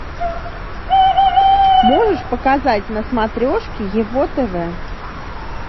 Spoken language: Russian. можешь показать на смотрешке его тв